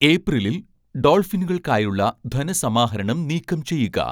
ഏപ്രിലിൽ ഡോൾഫിനുകൾക്കായുള്ള ധനസമാഹരണം നീക്കംചെയ്യുക